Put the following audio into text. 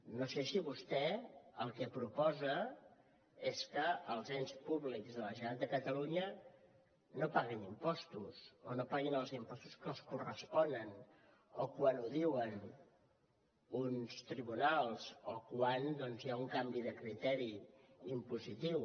no sé si vostè el que proposa és que els ens públics de la generalitat de catalunya no paguin impostos o no paguin els impostos que els corresponen o quan ho diuen uns tribunals o quan hi ha un canvi de criteri impositiu